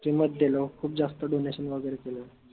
किंमत देलो खूप जास्त donation वगैरे केलं